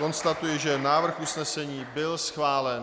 Konstatuji, že návrh usnesení byl schválen.